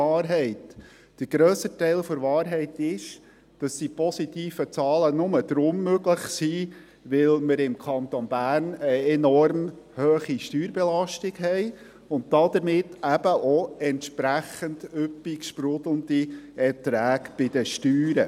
Der grössere Teil der Wahrheit ist, dass die positiven Zahlen nur möglich sind, weil wir im Kanton Bern eine enorm hohe Steuerbelastung haben, und damit entsprechend üppig sprudelnde Erträge bei den Steuern.